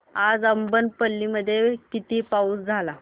आज अब्बनपल्ली मध्ये किती पाऊस झाला